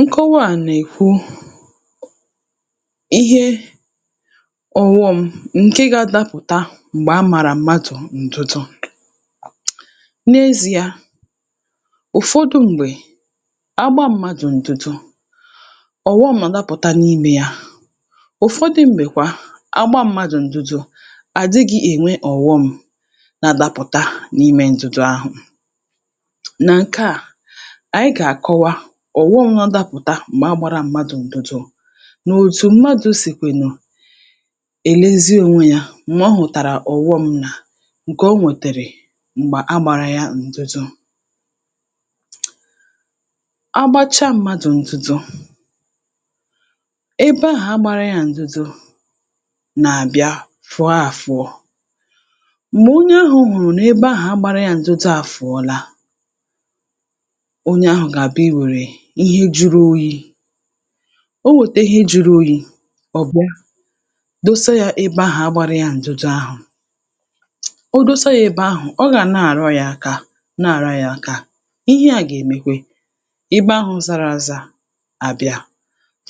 Nkọwa nà-èkwu ihe ọ̀wọṁ ǹkè ga-adapụ̀ta m̀gbè á màrà mmadụ̀ ǹdụdụ. M’ezi̇a, ụ̀fọdụ m̀gbè, gbaa m̀madụ̀ ǹdụdụ ọ̀wọṁ àdapụ̀ta n’imė ya; ụ̀fọdụ m̀gbèkwa a gbaa m̀madụ̀ ǹdụdụ àdịgị ènwe ọ̀wọṁ na-adapụ̀ta n’imė ǹdụdụ ahụ̀. Na nke a ànyị gà-àkọwa ọ̀wọm nadapụ̀ta m̀gbè a gbara m̀madụ̇ ǹdùdù nà òtù m̀madụ̇ sì kwè nụ èlezi onwe ya m̀gbè ọ hụ̀tàrà ọ̀wọm nà ǹkè o nwètèrè m̀gbè a gbara ya ǹdùdù. A gbachaa m̀madụ̇ ǹdùdù ebe ahụ̀ a gbara ya ǹdùdù nà-àbịa fụọ afụọ̇, m̀gbè onye ahụ̇ hùrù nà ebe ahụ̀ a gbara ya ǹdùdù àfụ̀ọla, onye ahụ̀ gà-àbịa i wèrè ihe juru oyi̇, o wètè ihe jụrụ oyi̇ ọ̀ bịa dosa yȧ ebe ahụ̀ agbȧra yȧ ǹdụdụ ahụ̀, o dosa yȧ ebe ahụ̀ ọ gà na-àrọ yȧ akà na-àrọ yȧ akà, ihe à gà-èmekwe ibe ahụ̇ zara ȧza àbịa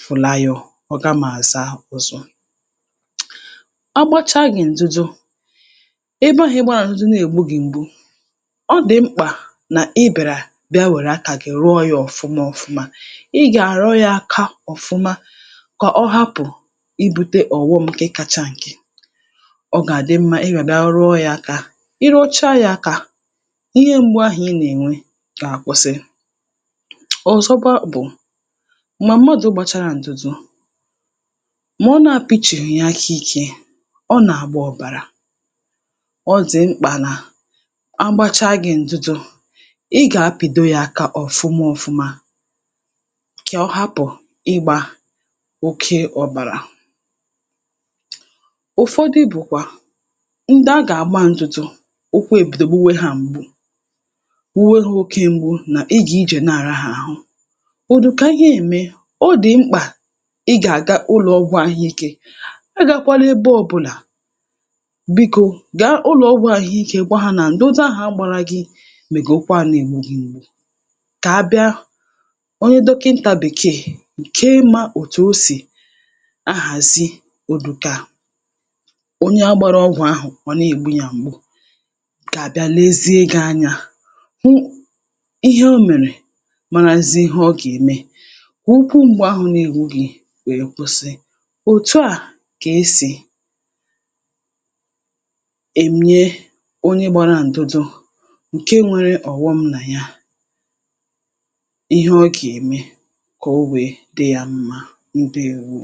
fụ̀laayọ ọ gama àza ọzọ. A gbȧchaa gị̀ ǹdụdụ, ebe ahụ̇ ị gbȧrȧ ǹdụdụ nà-ègbu gị̀ m̀gbu, ọ dị mkpà nà ị bịara bịa were aka gị rọọ ya ọ̀fụma ọfụma. Ị ga-arọ yaka ọfụma kà ọ hapụ̀ ibùte ọ̀wọm nke kacha ǹkè. Ọ gà-àdị mmȧ ị gàbịa rọọ ya akȧ, i rọcha ya akȧ, ihe m̀gbu ahụ̀ ị nà-ènwe gà-àkwụsị. Ọzọkwa bụ̀, m̀gba mmadụ̀ gbàchara ǹdụ̀dụ̀, mà ọ nȧ-apishihìǹ yà aka ikė, ọ nà-àgba ọ̀bàrà. Ọ dị mkpà nà agbàchaa gị̀ ǹdụdụ, ị gapịdoyaka ọfụma ọfụma ka ọhapụ̀ ịgbȧ oke ọbàrà. Ụfọdụ bụ̀kwà ndị a gà-àgba ndụdụ, ụkwu èbido gbuwe hȧ m̀gbu, gbuwe ha oke m̀gbu nà ị gà ijè na-àraha àhụ ụ̀dụka he ème, ọ dị̀ mkpà ị gà-àga ụlọ̇ ọgwụ̇ ahụ̀ ike. Agàkwala ebe ọ̇bụ̇là, biko gàà ụlọ̀ ọgwụ̇ àhụikė gwa hȧ nà ndụdụ ahụ̀ a gbara gị mègè ụkwa nà-ègbu gị mgbu kà abịa onye dọkịntà bèkeè ǹkè mȧ òtù osì ahàzi òdùkà onye agbara ọgwụ̀ ahụ̀ ọ na ègbu ya m̀gbu kà àbịa lezie gị̇ anyȧ hụ ihe omèrè marazie ihe ọ gèeme kụkwụ m̀gbu ahụ̀ n’egbugị wee kwụsị. Otù a kà esì ènye onye gbara ǹdụdụ ǹke nwere ọ̀wọm nà ya ihe ọgeme kà o wèe dị ya mma, ndèwo.